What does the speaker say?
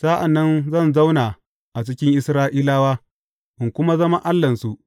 Sa’an nan zan zauna a cikin Isra’ilawa, in kuma zama Allahnsu.